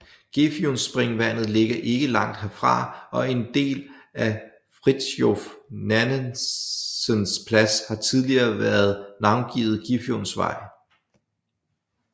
Gefionspringvandet ligger ikke langt herfra og en del af Fridtjof Nansens Plads har tidligere været navngivet Gefionsvej